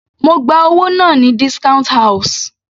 Mo gba owó náà ní discount house.